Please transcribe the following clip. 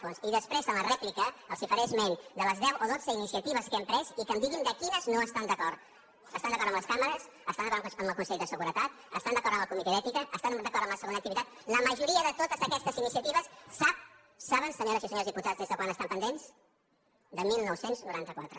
fons i després en la rèplica els faré esment de les deu o dotze iniciatives que hem pres i que em diguin amb quines no estan d’acord estan d’acord amb les càmeres estan d’acord amb el consell de seguretat estan d’acord amb el comitè d’ètica estan d’acord amb la segona activitat la majoria de totes aquestes iniciatives saben senyores i senyors diputats des de quan estan pendents de dinou noranta quatre